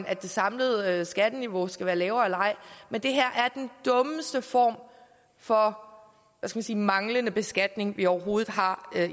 at det samlede skatteniveau skal være lavere men det her er den dummeste form for hvad skal man sige manglende beskatning vi overhovedet har